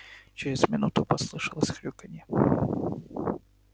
через минуту послышалось хрюканье